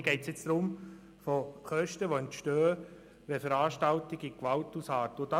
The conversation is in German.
Hier geht es jetzt um Kosten, die durch Gewalt an Veranstaltungen entstehen.